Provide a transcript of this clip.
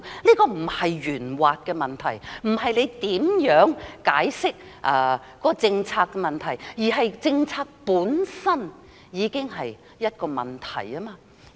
這並非圓滑的問題，不是如何解釋政策的問題，而是政策本身已經是一個問題。